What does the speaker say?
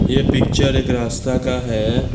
ये पिक्चर एक रास्ता का है।